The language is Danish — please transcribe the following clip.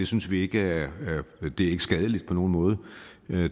synes vi ikke er skadeligt på nogen måde